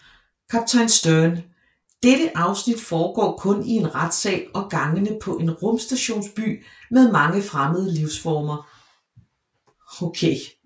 Kaptajn Sternn Dette afsnit foregår kun i en retssal og gangene på en rumstationsby med mange fremmede livsformer